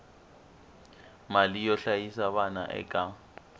mali yo hlayisa vana eka